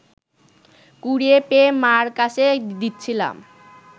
কুড়িয়ে পেয়ে মা’র কাছে দিচ্ছিলাম